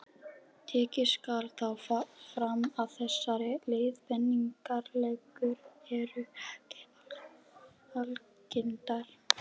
Tekið skal þó fram að þessar leiðbeiningarreglur eru ekki algildar.